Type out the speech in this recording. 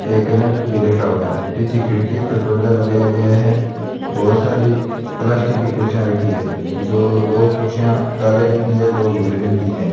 एक कैलेंडर भी रखा हुआ है पीछे खिड़कियों पर पर्दा लगाया गया है बहोत सारी प्लास्टिक की कुर्सियां रखी है जो दो कुर्सियां काले रंग की है दो भूरे रंग की है।